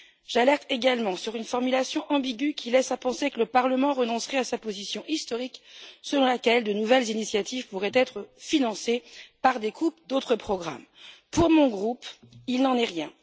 J'alerte également sur une formulation ambiguë qui laisse à penser que le Parlement renoncerait à sa position historique, sur laquelle de nouvelles initiatives pourraient être financées par des coupes dans d'autres programmes. Pour mon groupe, il n'en est rien.